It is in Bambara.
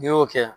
N'i y'o kɛ